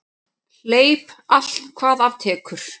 Hleyp allt hvað af tekur.